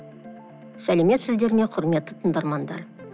сәлеметсіздер ме құрметті тыңдармандар